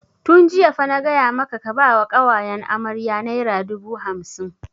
Tun jiya fa na gaya maka ka ba wa ƙawayen amarya naira dubu hamsin!